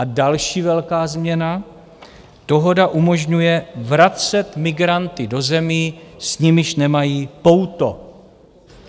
A další velká změna: Dohoda umožňuje vracet migranty do zemí, s nimiž nemají pouto.